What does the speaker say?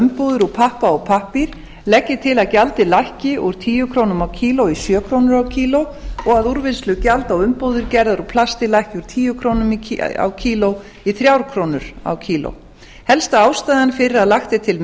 umbúðir úr pappa og pappír legg ég til að gjaldið lækki úr tíu krónur kílógrömm og að úrvinnslugjald á umbúðir gerðar úr plasti lækki úr tíu krónur kílógrömm helsta ástæðan fyrir að lagt er til